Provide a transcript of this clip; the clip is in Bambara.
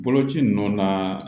Boloci ninnu na